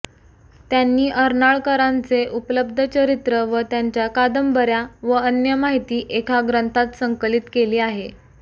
त्यांनी अर्नाळकरांचे उपलब्ध चरित्र व त्यांच्या कादंबऱ्या व अन्य माहिती एका ग्रंथात संकलित केली आहे